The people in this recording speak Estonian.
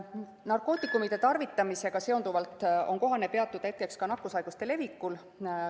Narkootikumide tarvitamisega seonduvalt on kohane peatuda ka nakkushaiguste levikul.